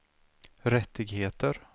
rättigheter